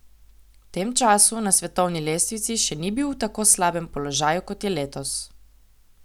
V tem času na svetovni lestvici še nikoli ni bil v tako slabem položaju, kot je letos.